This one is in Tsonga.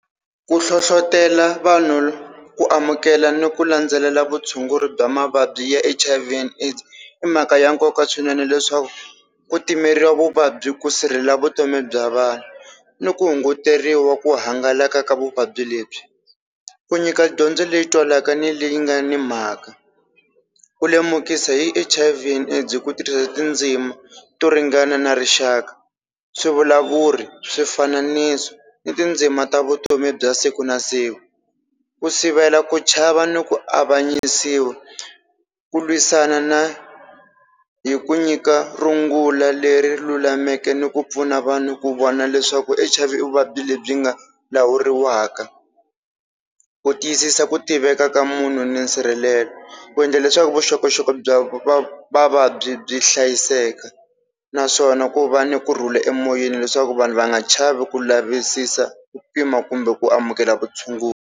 Ku hlohlotela vanhu ku amukela ni ku landzelela vutshunguri bya mavabyi ya H_I_V and AIDS i mhaka ya nkoka swinene leswaku ku timeriwa vuvabyi ku sirheleliwa vutomi bya vanhu, ni ku hunguteriwa ku hangalaka ka vuvabyi lebyi. Ku nyika dyondzo leyi twalaka ni leyi nga ni mhaka. Ku lemukisa hi H_I_V and AIDS hi ku tirhisa tindzimi to ringana na rixaka, swivulavuri, swifananiso ni tindzima ta vutomi bya siku na siku. Ku sivela ku chava ni ku avanyisiwa, ku lwisana na hi ku nyika rungula leri lulameke ni ku pfuna vanhu ku vona leswaku H_I_V i vuvabyi lebyi nga lawuriwaka. Ku tiyisisa ku tiveka ka munhu ni nsirhelelo, ku endla leswaku vuxokoxoko bya vavabyi byi hlayiseka naswona ku va ni kurhula emoyeni leswaku vanhu va nga chavi ku lavisisa ku pima kumbe ku amukela vutshunguri.